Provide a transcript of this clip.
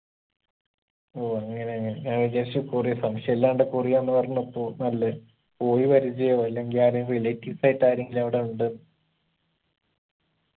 ഓ അങ്ങനെയാണ് ഞാൻ വിചാരിച്ചു കൊറിയ സംശയുല്ലാണ്ട് കൊറിയാന്ന് പറഞ്ഞപ്പോ നല്ലെ പോയി പരിചയവോ അല്ലെങ്കി ആരേം relatives ആയിട്ട് ആരെങ്കിലും അവിടെ ഉണ്ടെന്ന്